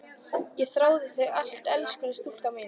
Ég þrái þig alt af elskulega stúlkan mín.